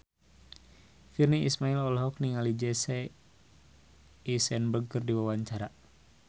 Virnie Ismail olohok ningali Jesse Eisenberg keur diwawancara